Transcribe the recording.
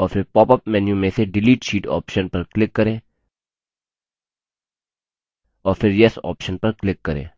और फिर popup menu में से delete sheet option पर click करें और फिर yes option पर click करें